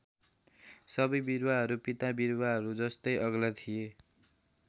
सबै बिरुवाहरू पिता बिरुवाहरू जस्तै अग्ला थिए।